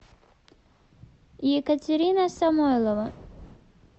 екатерина самойлова